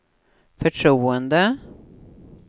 förtroende